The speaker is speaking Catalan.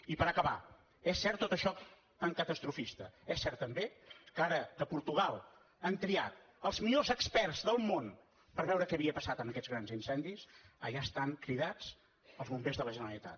i per acabar és cert tot això tan catastrofista és cert també que ara que a portugal han triat els millors experts del món per veure què havia passat amb aquests grans incendis allà estan cridats els bombers de la generalitat